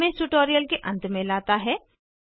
यह हमें इस ट्यूटोरियल के अंत में लाता है